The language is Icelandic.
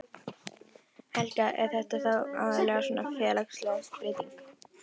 Helga: Er þetta þá aðallega svona félagsleg breyting?